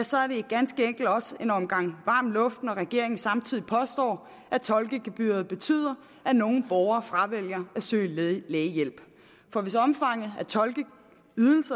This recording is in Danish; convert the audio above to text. så er det ganske enkelt også en omgang varm luft når regeringen samtidig påstår at tolkegebyret betyder at nogle borgere fravælger at søge lægehjælp for hvis omfanget